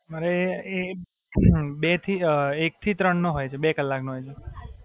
મારે આહ બે થી એક થી ત્રણ નો હોય છે, બે કલાક નો એટલે.